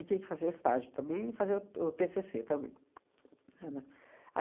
tinha que fazer o estágio também, fazer o o tê cê cê também. Era.